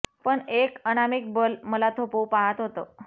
पण एक अनामिक बल मला थोपवू पाहत होतं